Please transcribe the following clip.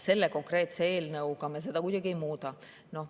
Selle konkreetse eelnõuga me seda kuidagi ei muuda.